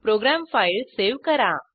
program file save करा